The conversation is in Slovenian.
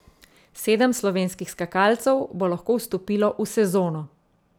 Sedem slovenskih skakalcev bo lahko vstopilo v sezono.